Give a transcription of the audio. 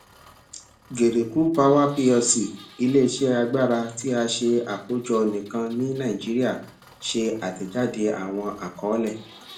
geregu power plc ileiṣẹ agbara ti a ṣe akojọ nikan ni naijiria ṣe atẹjade awọn akọọlẹ